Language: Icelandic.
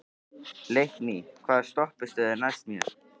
Leikný, hvaða stoppistöð er næst mér?